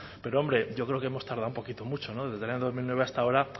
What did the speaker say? pero hombre yo creo que hemos tardado un poquito mucho desde el año dos mil nueve hasta ahora